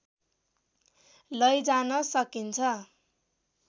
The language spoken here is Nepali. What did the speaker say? लैजान सकिन्छ